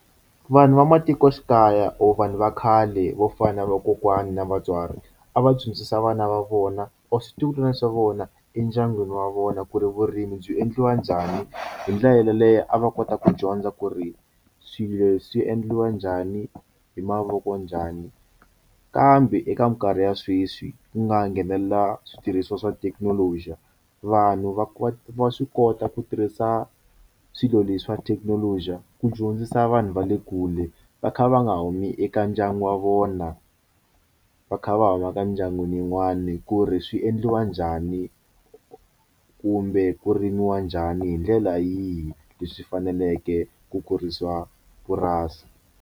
Vanhu va matikoxikaya or vanhu va khale vo fana na vakokwana na vatswari a va dyondzisa vana va vona or switukulwana swa vona endyangwini wa vona ku ri vurimi byi endliwa njhani hi ndlela yeleyo a va kota ku dyondza ku ri swilo swi endliwa njhani hi mavoko njhani kambe eka minkarhi ya sweswi ku nga nghenelela switirhisiwa swa thekinoloji vanhu va va va swi kota ku tirhisa swilo leswi swa thekinoloji ku dyondzisa vanhu va le kule va kha va nga humi eka ndyangu wa vona va kha va huma ka mindyangwini yin'wani ku ri swi endliwa njhani kumbe ku rimiwa njhani hi ndlela yihi leswi faneleke ku kurisiwa purasi.